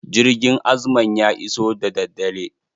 Jirgin azman ya iso daddadare.